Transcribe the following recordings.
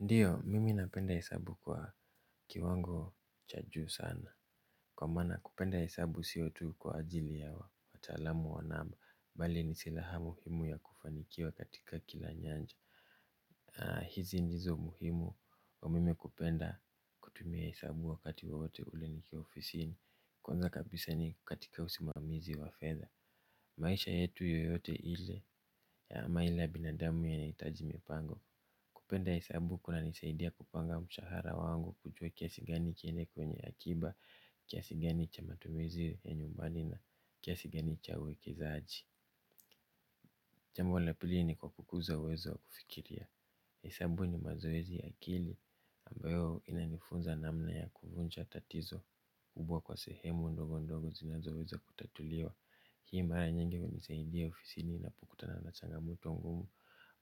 Ndiyo mimi napenda hesabu kwa kiwango cha juu sana kwa maana kupenda hesabu sio tu kwa ajili ya wataalamu wa namba bali ni silaha muhimu ya kufanikiwa katika kila nyanja aa hizi ndizo muhimu wa mimi kupenda kutumia hesabu wakati wote kule nikiwa ofisini kwanza kabisa ni katika usimamizi wa fedha maisha yetu yoyote ile ya ama ile ya binadamu yahitaji mipango. Kupenda hesabu kunanisaidia kupanga mshahara wangu kujua kiasi gani kiende kwenye akiba, kiasi gani cha matumizi ya nyumbani na kiasi gani cha uwekezaji. Jambo la pili ni kwa kukuza uwezo wa kufikiria. Hesabu ni mazoezi ya akili ambayo inanifunza namna ya kuvunja tatizo kubwa kwa sehemu ndogo ndogo zinazowezo kutatuliwa. Hii mara nyingi hunisaidia ofisini napokutana na changamoto ngumu.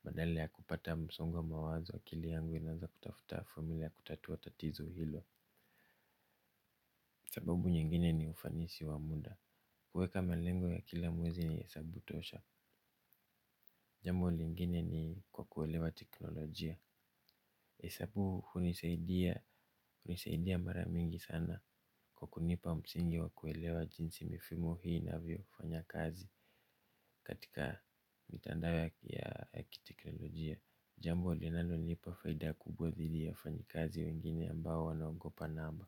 Badala ya kupata msongo wa mawazo akili yangu inaanza kutafuta familia kutatuwa tatizo hilo. Sababu nyingine ni ufanisi wa muda. Kuweka malengo ya kila mwezi ni hesabu tosha. Jambo lingine ni kwa kuelewa teknolojia hesabu hunisaidia. Hunisaidia mara mingi sana kwa kunipa msingi wa kuelewa jinsi mifumo hii inavyofanya kazi. Katika mitandao ya kiteknolojia. Jambo linalonilipa faida kubwa dhidi ya wafanyikazi wengine ambao wanaogopa namba.